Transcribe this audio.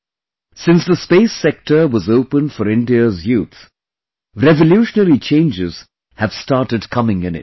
Since, the space sector was opened for India's youth and revolutionary changes have started coming in it